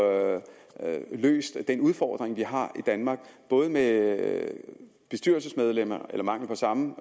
løftet den udfordring vi har i danmark både med bestyrelsesmedlemmer eller mangel på samme